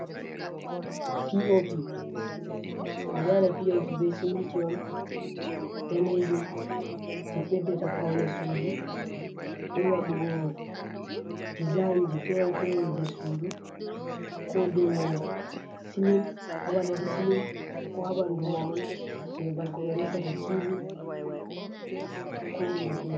piopi: Ɓeɗo waɗa piopi be siminti on danejum je ɓeddata paune sudu be waɗugo dezainji fere-fere je sudu, ko dou silin amadadi silin, ko ha ɓandu mahol je babal ko ɓe resata tivi, ko hunde fere.